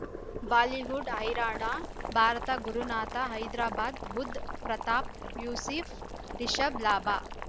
Bollywood ಹೈರಾಣ ಭಾರತ ಗುರುನಾಥ ಹೈದರಾಬಾದ್ ಬುಧ್ ಪ್ರತಾಪ್ ಯೂಸಿ ಫ್ ರಿಷಬ್ ಲಾಭ